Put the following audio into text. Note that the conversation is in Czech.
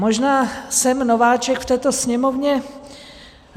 Možná jsem nováček v této Sněmovně.